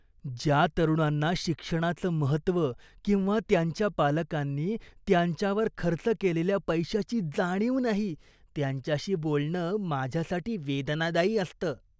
ज्या तरुणांना शिक्षणाचं महत्त्व किंवा त्यांच्या पालकांनी त्यांच्यावर खर्च केलेल्या पैशाची जाणीव नाही, त्यांच्याशी बोलणं माझ्यासाठी वेदनादायी असतं.